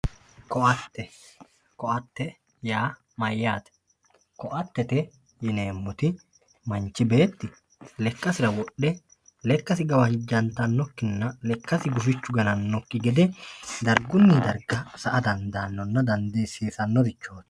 ko"atte ko"atte yaa mayaate ko"attete yineemoti manchi beetti lekkasira wodhe lekkasi gawajjantanokinna lekkasi gufichu ganannokki gede dargunni darga sa"a dandaanonna woye dandiisisaanoricho.